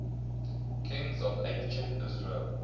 kings of ancient israel